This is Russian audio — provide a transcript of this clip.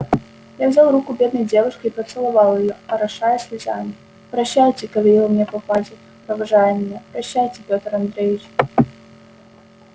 я взял руку бедной девушки и поцеловал её орошая слезами прощайте говорила мне попадья провожая меня прощайте петр андреич